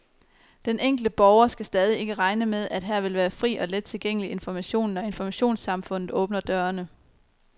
Den enkelte borger skal stadig ikke regne med, at her vil være fri og let tilgængelig information, når informationssamfundet åbner dørene.